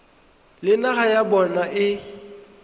le naga ya bona e